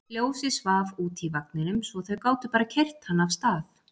Ljósið svaf úti í vagninum svo þau gátu bara keyrt hann af stað.